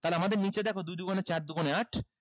তাহলে আমাদের নিচে দেখো দুই দুগুনে চার দুগুনে আট